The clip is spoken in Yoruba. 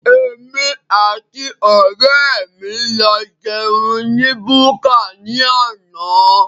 Èmi àti ọrẹ mí lọ jẹun ní búkà ní àna